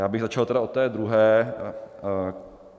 Já bych začal tedy od té druhé.